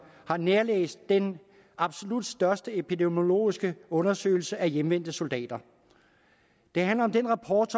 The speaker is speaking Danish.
har nærlæst den absolut største epidemiologiske undersøgelse af hjemvendte soldater det handler om den rapport